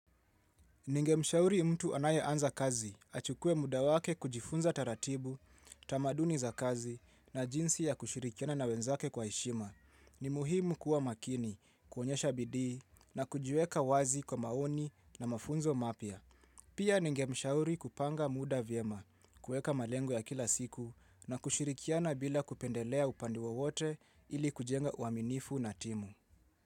Ningemshauri mtu anayeanza kazi achukue muda wake kujifunza taratibu, tamaduni za kazi na jinsi ya kushirikiana na wenzake kwa heshima. Ni muhimu kuwa makini, kuonyesha bidii na kujiweka wazi kwa maoni na mafunzo mapya. Pia ningemshauri kupanga muda vyema, kuweka malengo ya kila siku na kushirikiana bila kupendelea upande wowote ili kujenga uaminifu na timu.